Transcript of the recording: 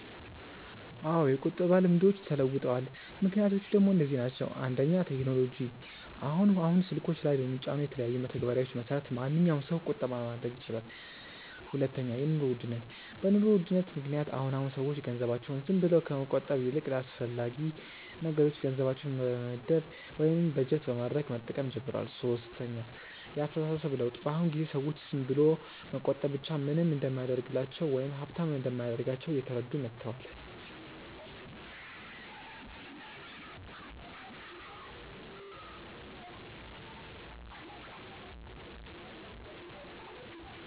አዎ የቁጠባ ልምዶች ተለውጠዋል። ምክንያቶቹ ደሞ እነዚህ ናቸው፦ 1. ቴክኖሎጂ፦ አሁን አሁን ስልኮች ላይ በሚጫኑ የተለያዩ መተግበሪያዎች መሰረት ማንኛዉም ሰው ቁጠባ ማድረግ ይችላል 2. የኑሮ ውድነት፦ በ ኑሮ ውድነት ምክንያት አሁን አሁን ሰዎች ገንዘባቸውን ዝም ብለው ከመቆጠብ ይልቅ ለአስፈላጊ ነገሮች ገንዘባቸውን በመመደብ ወይም በጀት በማድረግ መጠቀም ጀምረዋል 3. የ አስተሳሰብ ለውጥ፦ በ አሁን ጊዜ ሰዎች ዝም ብሎ መቆጠብ ብቻ ምንም እንደማያደርግላቸው ወይም ሃብታም እንደማያደርጋቸው እየተረዱ መተዋል